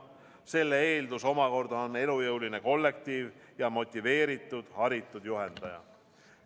Selle eeldus omakorda on elujõuline kollektiiv ja motiveeritud haritud juhendaja.